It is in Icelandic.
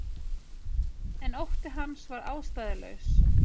En ótti hans var ástæðulaus.